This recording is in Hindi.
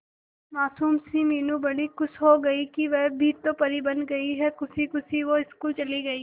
मासूम सी मीनू बड़ी खुश हो गई कि वह भी तो परी बन गई है खुशी खुशी वो स्कूल चली गई